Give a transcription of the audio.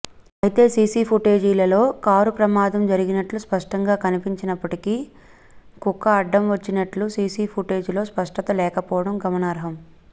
అయితే సీసీపుటేజీలలో కారు ప్రమాదం జరిగినట్లు స్పష్టంగా కనిపిస్తున్నప్పటికి కుక్క అడ్డం వచ్చినట్లు సీసీపుటేజీలో స్పష్టత లేకపోవడం గమనార్హం